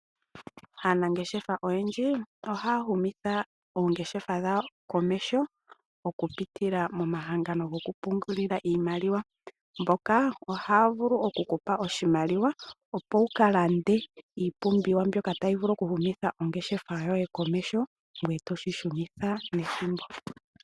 Aanangeshefa ohaa humitha oongeshefa dhawo komeho okupitila momahangano gokupungulila iimaliwa. Omahangano ngoka ohaga vulu okukupa iimaliwa mbyono to vulu okulongitha okulanda iipumbiwa uhumithe ongeshefa yoye komeho, ngoye toyi shunitha nethimbo.